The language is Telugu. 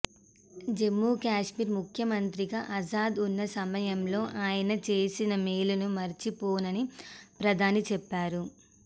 జమ్మూకశ్మీర్ ముఖ్యమంత్రిగా ఆజాద్ ఉన్న సమయంలో ఆయన చేసిన మేలును మరిచిపోనని ప్రధాని చెప్పారు